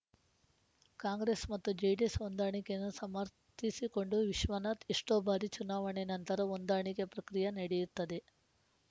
ಕಾಂಗ್ರೆಸ್‌ ಮತ್ತು ಜೆಡಿಎಸ್‌ ಹೊಂದಾಣಿಕೆಯನ್ನು ಸಮರ್ಥಿಸಿಕೊಂಡ ವಿಶ್ವನಾಥ್‌ ಎಷ್ಟೋ ಬಾರಿ ಚುನಾವಣೆ ನಂತರ ಹೊಂದಾಣಿಕೆ ಪ್ರಕ್ರಿಯೆ ನಡೆಯುತ್ತದೆ